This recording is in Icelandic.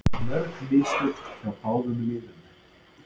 Mörg mistök hjá báðum liðum